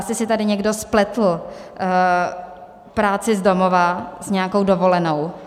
Asi si tady někdo spletl práci z domova s nějakou dovolenou.